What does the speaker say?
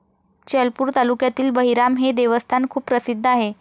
चलपूर तालुक्यातील बहिराम हे देवस्थान खूप प्रसिद्ध आहे.